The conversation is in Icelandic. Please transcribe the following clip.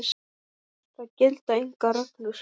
Það gilda engar reglur.